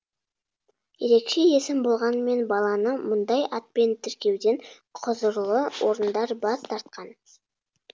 ерекше есім болғанымен баланы мұндай атпен тіркеуден құзырлы орындар бас тартқан